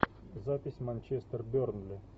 запись манчестер бернли